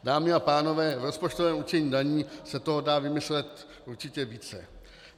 Dámy a pánové, v rozpočtovém určení daní se toho dá vymyslet určitě více.